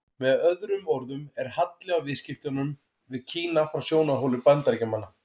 Með öðrum orðum er halli á viðskiptunum við Kína frá sjónarhóli Bandaríkjamanna.